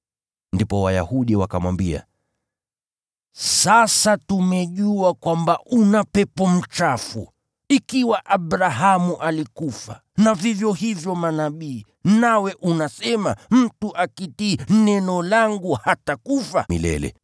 Ndipo Wayahudi wakamwambia, “Sasa tumejua kwamba una pepo mchafu. Ikiwa Abrahamu alikufa na vivyo hivyo manabii, nawe unasema ‘Mtu akitii neno langu hatakufa milele.’